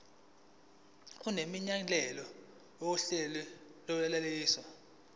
nemininingwane yohlelo lokwelashwa